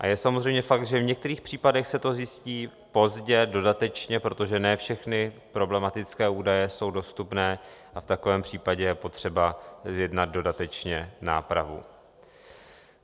A je samozřejmě fakt, že v některých případech se to zjistí pozdě, dodatečně, protože ne všechny problematické údaje jsou dostupné, a v takovém případě je potřeba zjednat dodatečně nápravu.